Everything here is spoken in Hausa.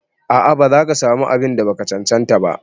A'a ba zaka samu abun da baka cancanta ba.